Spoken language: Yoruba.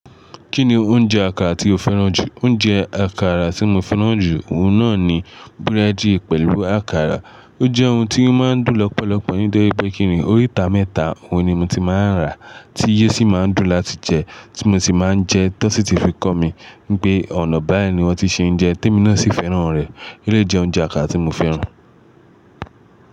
Kí ni oúnjẹ àkàrà tí o fẹ́ràn jù? Oúnjẹ àkàrà tí mo fẹ́ràn jù, òun náà ni búrẹ́dì pẹ̀lú àkàrà. Ó jẹ́ ohun tí ó máa ń dùn lọ́pọ̀lọpọ̀ nítorí pé kíni, oríta mẹ́ta òun ni mo ti máa ń rà tí yio sì máa ń dùn láti jẹ, tí mo sì máa ń jẹ, tó n sì ti fi kọ́ mi wipé ọ̀nà báyìí ni wọ́n ti ṣe ń jẹ, témi náà sì fẹ́ràn rẹ̀. Elé yi jẹ oúnjẹ àkàrà tí mo fẹ́ràn.